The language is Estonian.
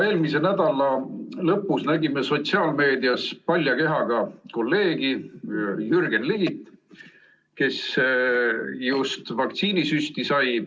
Eelmise nädala lõpus nägime sotsiaalmeedias palja kehaga kolleegi Jürgen Ligi, kes sai vaktsiinisüsti.